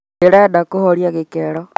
ndirenda kuhoria gikero